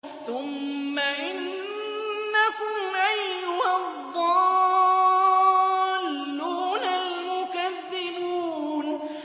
ثُمَّ إِنَّكُمْ أَيُّهَا الضَّالُّونَ الْمُكَذِّبُونَ